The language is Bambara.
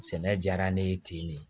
Sɛnɛ diyara ne ye ten de